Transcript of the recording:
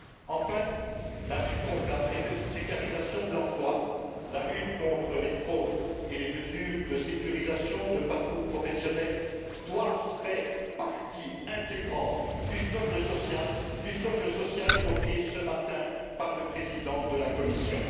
Enfin, la lutte contre la précarisation de l'emploi, la lutte contre les fraudes et les mesures de sécurisation de parcours professionnels doivent faire partie intégrante du socle social évoqué ce matin par le président de la Commission.